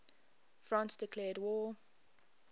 france declared war